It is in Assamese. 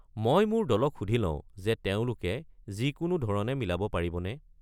মই মোৰ দলক সুধি লওঁ যে তেওঁলোকে যিকোনো ধৰণে মিলাব পাৰিবনে।